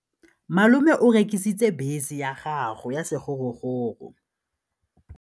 Malome o rekisitse bese ya gagwe ya sekgorokgoro.